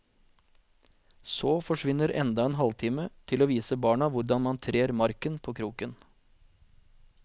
Så forsvinner enda en halvtime til å vise barna hvordan man trer marken på kroken.